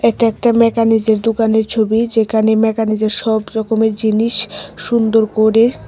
এটা একটা ম্যাকানিজের দুকানের ছবি যেকানে ম্যাকানিজের সব রকমের জিনিস সুন্দর করে--